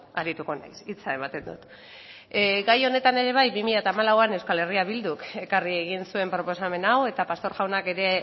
arituko naiz hitza ematen dut gai honetan ere bai bi mila hamalauan euskal herria bilduk ekarri egin zuen proposamen hau eta pastor jaunak ere